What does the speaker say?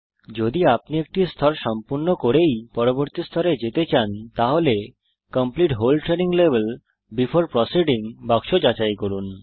যদি আপনি একটি স্তর সম্পূর্ণ করেই পরবর্তী স্তরে যেতে চান তাহলে complete whole training level before proceeding বাক্স যাচাই করুন